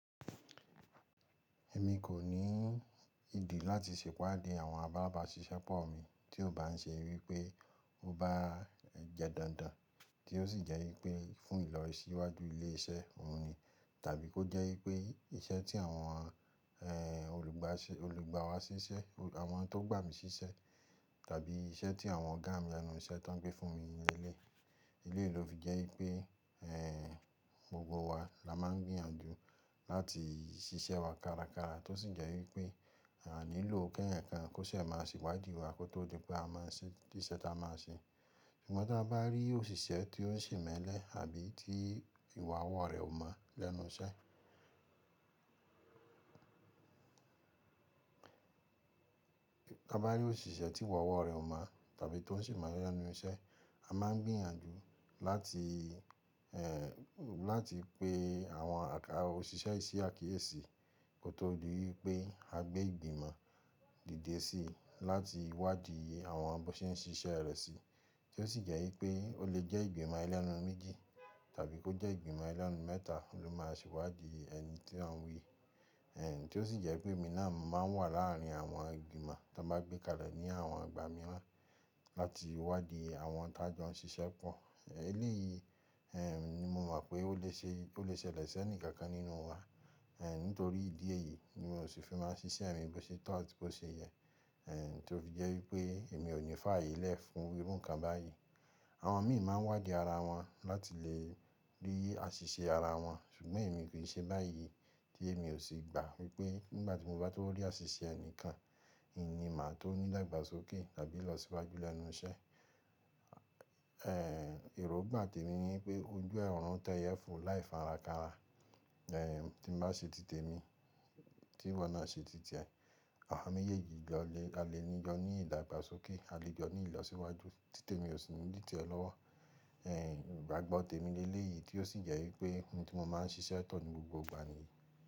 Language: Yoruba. Èmi kò ní ìdí láti sèwádi àwọn abábī ṣíṣẹ́pọ̀ mi tí ó bá ń ṣe wípé ó bá ń jẹ dandan tí ó sì jẹ́ wípé fún ìlọ̀ í síwájú ilé iṣẹ́ oun ni, tàbí kó jẹ́ wípé iṣẹ́ tí àwọn ehn olugba se, olùgbàwa siṣẹ́ àwọn tó gbà mí síṣẹ́ tàbí iṣẹ́ tí àwọn ọ̀gá mi lẹ́nu iṣẹ́ tóń gbé fún mi ni eleyii. Eleyìí ló fi jẹ́ wípé, eh, gbogbo wa la máa ń gbìyànjú láti ṣiṣẹ́ wa kárakára tó sì jẹ́ wípé à níló keeyan kan kó ṣe máa sewádìí wa kó tó di pé a máa ṣe tiṣẹ́ ta máa ṣe. Ṣùgbọ́n ta bá rí òṣìṣẹ́ tí ó ń ṣemelẹ̀ àbí tí ìwà ọwọ́ rẹ̀ ò mọ́ lẹ́nu iṣẹ́, ta bá rí òṣìṣẹ́ tíwà ọwọ́ rẹ̀ ò mọ́ tàbí tó ń ṣemelẹ̀ lẹ́nu iṣẹ́, a máa ń gbìyànjú láti, eh, láti pe àwọn àká ọ̀ṣìṣẹ́ yii sí àkíyèsí kó tó di wípé a gbé ìgbìmọ̀ dìde síi láti wádìí àwọn bó ṣe ń ṣiṣẹ́ rẹ̀ sí, tí ó sì jẹ́ wípé ó lè jẹ́ ìgbìmọ̀ elẹ́nu méjì tàbí kó jẹ́ ìgbìmọ̀ elẹ́nu mẹ́ta ló máa sewádìí ẹni tí a n wí. Eh, tí ó sì jẹ́ pé èmi náà mo máa ń wà láàrin àwọn ìgbìmọ̀ tọ́n bá gbé kalẹ̀ ní àwọn igbà míiràn láti wádìí àwọn tá jọ ń ṣiṣẹ́ pọ̀. Eléyìí, eh, ni mo mọ̀ pé ó lè ṣe, ó lè ṣẹlẹ̀ sẹ́ni kankan nínú wa. Eh, nítorí ìdí èyí ni mo sì fi máa ṣiṣẹ́ mi bó ṣe to atí bó ṣe yẹ. Eh, tí ó fi jẹ́ wípé èmi ò ní fààyè lẹ́ fún irú nǹkan báyìí. Àwọn miì máa ń wádìí ara wọn láti lè rí àṣìṣe ara wọn, ṣùgbọ́n èmi kì í ṣe báyìí tí èmi ò sì gba wípé nígbà tí mo bá tó rí àṣìṣe ẹnìkan, n ni màá tó ní ìdàgbàsókè tàbí ilọsíwájú lẹ́nu iṣẹ́. Eh, èròngbà tèmi ni pé ojú orùń tẹ́yẹ fo láì fara kánra. Eh, tí n bá ṣe títè mi, tíwọ náà ṣe tí tiè, àwa méjèèjì a lè ní jọ ní ìdàgbàsókè, a lè jọ ní ìlọ̀síwájú. Tí tèmi ò sì ni di tiẹ lọ́wọ́. Eh, ìgbàgbọ́ tèmi léléyìí tí ó sì jẹ́ wípé ohun tí mo máa ń ṣiṣẹ́ to ní gbogbo ìgbà ni.